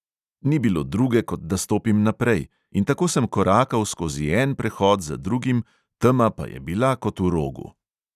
Ni bilo druge, kot da stopim naprej; in tako sem korakal skozi en prehod za drugim, tema pa je bila kot v rogu.